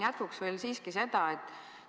Ma küsin veel siiski edasi.